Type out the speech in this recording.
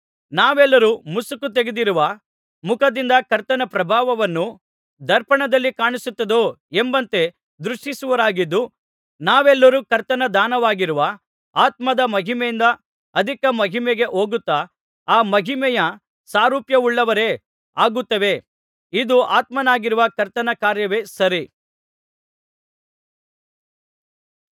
ನಾವೆಲ್ಲರೂ ಮುಸುಕು ತೆಗೆದಿರುವ ಮುಖದಿಂದ ಕರ್ತನ ಪ್ರಭಾವವನ್ನು ದರ್ಪಣದಲ್ಲಿ ಕಾಣಿಸುತ್ತದೋ ಎಂಬಂತೆ ದೃಷ್ಟಿಸುವವರಾಗಿದ್ದು ನಾವೆಲ್ಲರೂ ಕರ್ತನ ದಾನವಾಗಿರುವ ಆತ್ಮದ ಮಹಿಮೆಯಿಂದ ಅಧಿಕ ಮಹಿಮೆಗೆ ಹೋಗುತ್ತಾ ಆ ಮಹಿಮೆಯ ಸಾರೂಪ್ಯವುಳ್ಳವರೇ ಆಗುತ್ತೇವೆ ಇದು ಆತ್ಮನಾಗಿರುವ ಕರ್ತನ ಕಾರ್ಯವೇ ಸರಿ